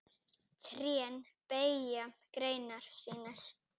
Trén beygja greinar sínar.